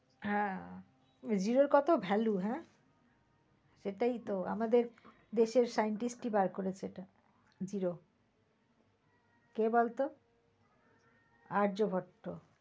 হ্যাঁ zero কত value হ্যাঁ? এটায় তো আমাদের দেশের এক scientist ই বের করেছে zero কে বলত? আর্য ভট্ট।